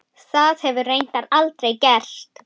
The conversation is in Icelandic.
Það hefur reyndar aldrei gerst.